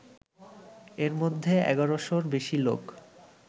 এর মধ্যে ১১শ'রও বেশি লোক